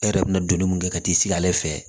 E yɛrɛ bɛna donni mun kɛ ka t'i sigi ale fɛ